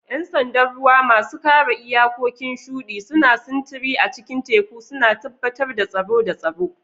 Yan sandan ruwa, masu kare iyakokin shudi, suna sintiri a cikin teku, suna tabbatar da tsaro da tsaro.